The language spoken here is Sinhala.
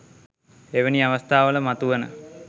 එවැනි අවස්ථාවල මතුවන